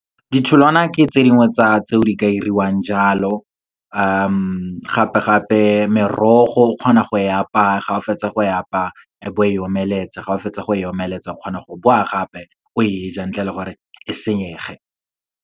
Ditholwana ke tse dingwe tsa tseo di ka diriwang jalo, gape-gape merogo o kgona go e apaya, ga o fetsa go e apaya e be o e omeletsa. Ga o fetsa go e omeletsa, o kgona go boa gape o e ja ntle le gore e senyege.